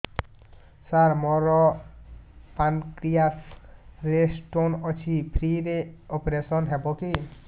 ସାର ମୋର ପାନକ୍ରିଆସ ରେ ସ୍ଟୋନ ଅଛି ଫ୍ରି ରେ ଅପେରସନ ହେବ କି